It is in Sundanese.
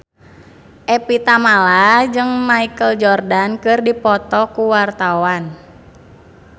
Evie Tamala jeung Michael Jordan keur dipoto ku wartawan